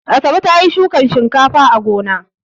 Asabe ta yi shukan shinkafa a gona.